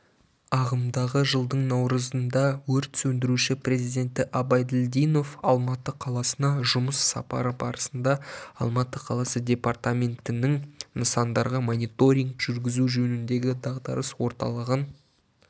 ағымдағы жылдың наурызында өрт сөндіруші президенті абайділдинов алматы қаласына жұмыс сапары барысында алматы қаласы департаментінің нысандарға мониторинг жүргізу жөніндегі дағдарыс орталығын